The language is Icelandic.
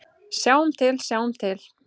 Sjáum til, sjáum til.